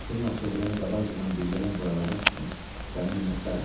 Bəxtimin açıldığını qabaqcadan bildirən bu əlamət üçün sənə minnətdaram.